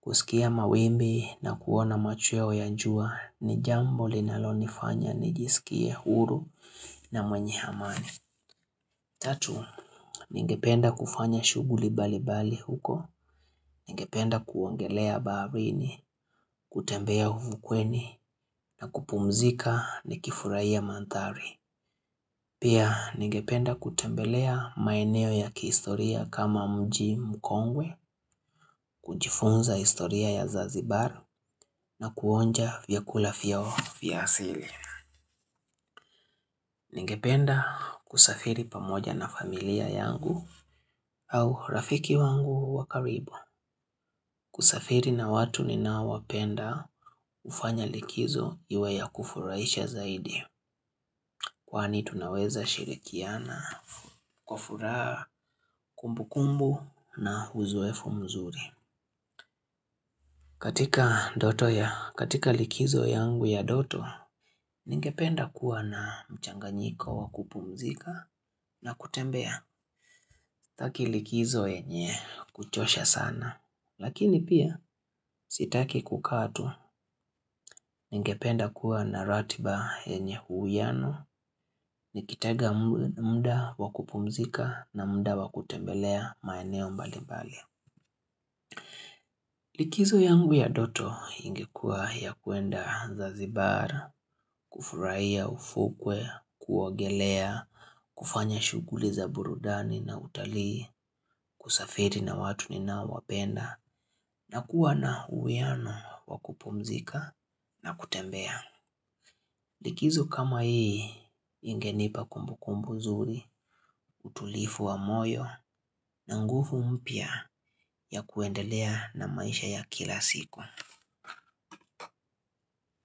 Kusikia mawimbi na kuona machweo ya jua ni jambo linaloni fanya ni jisikie huru na mwenye amani. Tatu, ningependa kufanya shughuli mbali mbali huko, ningependa kuogelea baharini, kutembea ufukweni na kupumzika ni kifurahia mandhari. Pia ningependa kutembelea maeneo ya kihistoria kama mji mkongwe, kujifunza historia ya zanzibar na kuonja vyakula vyao vyaasili. Ningependa kusafiri pamoja na familia yangu au rafiki wangu wakaribu. Kusafiri na watu ninaowapenda hufanya likizo iwe ya kufurahisha zaidi. Kwani tunaweza shirikiana kwa furaha kumbu kumbu na uzoefu mzuri. Katika likizo yangu ya ndoto, ningependa kuwa na mchanganyiko wakupumzika na kutembea sitaki likizo yenye kuchosha sana. Lakini pia sitaki kukaa tu ningependa kuwa na ratiba yenye uiano, nikitega muda wakupumzika na muda wakutembelea maeneo mbali mbali. Likizo yangu ya ndoto ingekua ya kuenda zanzibar, kufurahia ufukwe, kuogelea, kufanya shughuli za burudani na utalii, kusafiri na watu ni naowapenda, na kuwa na uiano wakupumzika na kutembea. Likizo kama hii, ingenipa kumbu kumbu zuri, utulivu wa moyo, na nguvu mpya ya kuendelea na maisha ya kila siku.